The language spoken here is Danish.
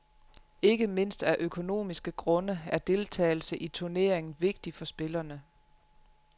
Ikke mindst af økonomiske grunde er deltagelse i turneringen vigtig for spillerne.